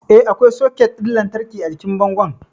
Eh, akwai soket ɗin lantarki a jikin bangon